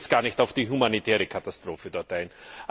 Ich gehe jetzt gar nicht auf die humanitäre Katastrophe dort ein.